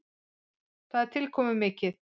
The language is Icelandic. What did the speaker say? Það er tilkomumikið.